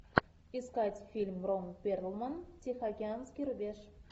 искать фильм рон перлман тихоокеанский рубеж